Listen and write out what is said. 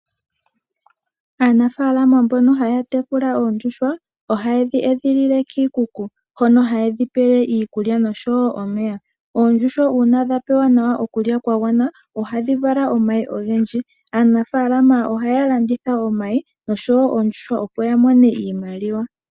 Aanafalama mbono haya tekula oondjuhwa oha yedhi edhililwa kiikuku hono ha yedhi pele iikulya. Uuna dha pewa iikulya ya gwana ohadhi vala omayi ogendji.